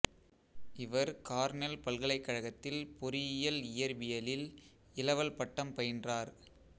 இவர் கார்னெல் பல்கலைக்கழகத்தில் பொறியியல் இயற்பியலில் இளவல் பட்டம் பயின்றார்